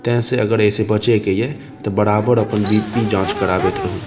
ते से अगर ए से बचे के ये ते बराबर अपन बी.पी. जांच करावएत रहु।